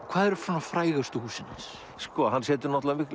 hvað eru svona frægustu húsin hans hann setur náttúrulega